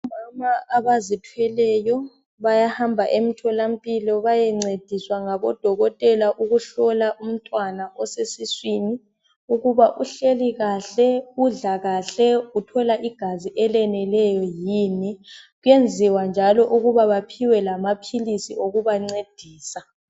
Omama abazithweleyo bayahamba emthola mpilo bayancediswa ngabodokotela ukuhlola umntwana osesiswini ukuba uhleli kahle udla kahle uthola igazi eleneleyo yini kwenziwa njalo ukuba baphiwe amaphilisi okubancedisa.